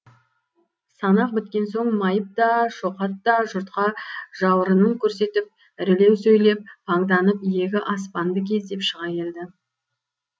санақ біткен соң майып та шоқат та жұртқа жауырынын көрсетіп ірілеу сөйлеп паңданып иегі аспанды кездеп шыға келді